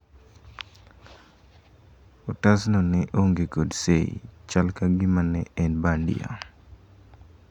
otasno ne onge kod sei , chal ka gima ne en bandia